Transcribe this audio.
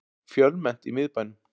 Fjölmennt í miðbænum